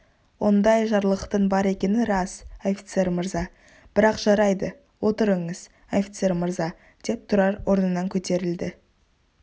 ондай жарлықтың бар екені рас офицер мырза бірақ жарайды отырыңыз офицер мырза деп тұрар орнынан көтерілді